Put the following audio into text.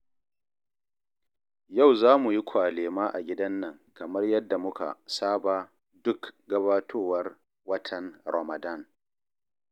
Yau za mu yi kwalema a gidan nan kamar yadda muka saba duk gabatowar watan Ramadan